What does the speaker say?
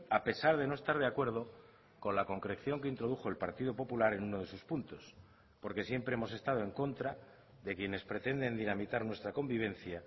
a pesar de no estar de acuerdo con la concreción que introdujo el partido popular en uno de sus puntos porque siempre hemos estado en contra de quienes pretenden dinamitar nuestra convivencia